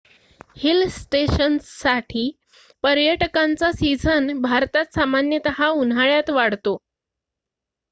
hill स्टेशन्ससाठी पर्यटकांचा season भारतात सामान्यतः उन्हाळ्यात वाढतो